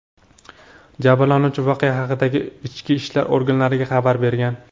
Jabrlanuvchi voqea haqida ichki ishlar organlariga xabar bergan.